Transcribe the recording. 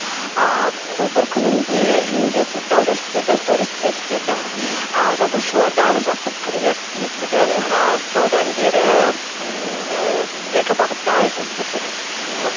ыыы сол бір күнінде үйімде сұрыптау жәшіктерді сториске түсірдім ы жазушылардан жақсы пікірлер естідім ыыы содан бері ммм экобағытта жұмыс істеп жүрміз ооо